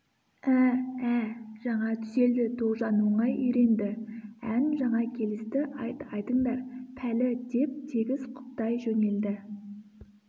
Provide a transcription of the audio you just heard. ә-ә жаңа түзелді тоғжан оңай үйренді ән жаңа келісті айт айтыңдар пәлі деп тегіс құптай жөнелді